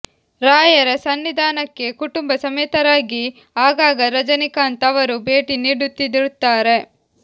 ರಾಯರ ಸನ್ನಿಧಾನಕ್ಕೆ ಕುಟುಂಬ ಸಮೇತರಾಗಿ ಆಗಾಗ ರಜನಿಕಾಂತ್ ಅವರು ಭೇಟಿ ನೀಡುತ್ತಿರುತ್ತಾರೆ